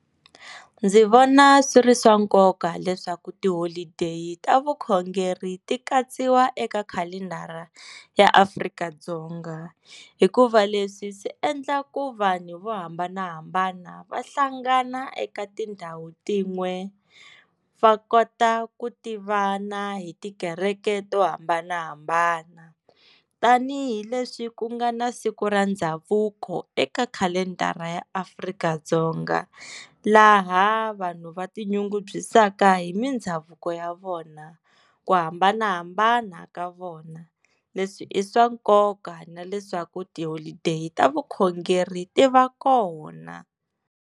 Ndzi vona swi ri swa nkoka leswaku tiholodeyi ta vukhongeri ti katsiwa eka khalendara ya Afrika-Dzonga hikuva leswi swi endla ku vanhu vo hambanahambana va hlangana eka tindhawu tin'we va kota ku tivana hi tikereke to hambanahambana tanihileswi ku nga na siku ra ndhavuko eka khalendara ya Afrika-Dzonga laha vanhu va tinyungubyisaka hi mindhavuko ya vona, ku hambanahambana ka vona leswi i swa nkoka na leswaku tiholodeyi ta vukhongeri ti va kona.